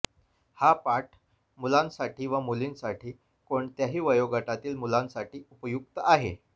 हा पाठ मुलांसाठी व मुलींसाठी कोणत्याही वयोगटातील मुलांसाठी उपयुक्त आहे